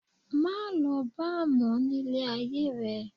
Má lọ bar mọ ní ilé ayé rẹ.